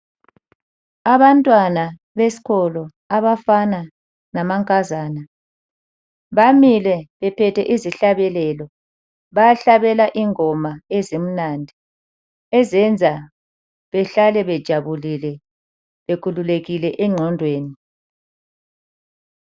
Abantwana besikolo abafana lamankazana , bamile bephethe izihlabelelo. Bayahlabela ingoma ezimnandi ezenza behlale bejabulile bekhululekile engqondweni.